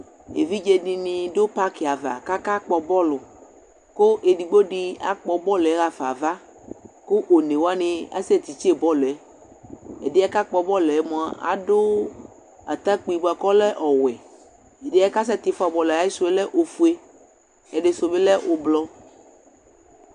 Evidze dini adu paki ava, kʋ akakpɔ bɔlʋ kʋ edigbo di akpɔ bɔlʋ yɛ ɣafa ava, kʋ one wani asɛtitse bɔlʋ yɛ Ɛdi yɛ kʋ akpɔ bɔlʋ yɛ mua, adu atakpi bʋakʋ ɔlɛ owɛ Ɛdɩ yɛ kasɛtifua bɔlʋ yɛ, ayisu lɛ ofue, ɛdɩsu bɩ lɛ ʋblu